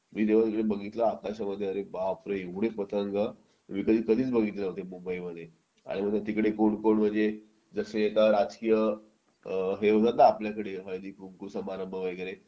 मी जेव्हा बघितला आकाशामध्ये अरे बापरे एवढे पतंग मी कधीच बघितले नव्हते मुंबईमध्ये आणि तिकडे कोण कोण म्हणजे जसे आता राजकीय हे होतात ना आपल्याकडे हळदीकुंकू समारंभ वगैरे